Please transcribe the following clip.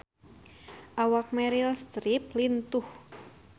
Awak Meryl Streep lintuh